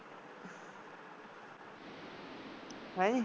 ਹੈਂ ਜੀ